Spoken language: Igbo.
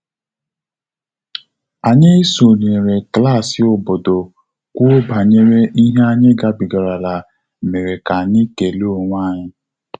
Anyị sonyere klassị obodo kwuo banyere ihe anyị gabigara la mere ka anyị kele onwe anyị